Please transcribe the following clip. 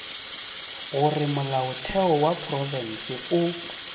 gore molaotheo wa profense o